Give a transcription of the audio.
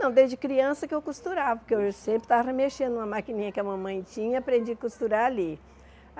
Não, desde criança que eu costurava, porque eu sempre estava mexendo na maquininha que a mamãe tinha, aprendi a costurar ali.